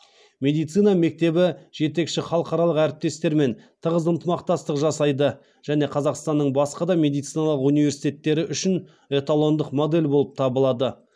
медицина мектебі жетекші халықаралық әріптестермен тығыз ынтымақтастық жасайды және қазақстанның басқа да медициналық университеттері үшін эталондық модель болып табылады